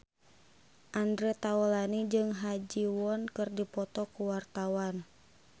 Andre Taulany jeung Ha Ji Won keur dipoto ku wartawan